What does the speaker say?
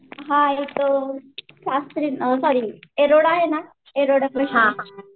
हां इथं शास्त्री येरवडा आहे ना येरवडा कडे आहे.